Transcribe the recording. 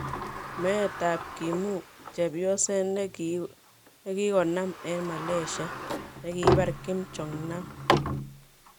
meetap Kimu: chepyoseet negoginam en Malyasia negipar KimJong Nam?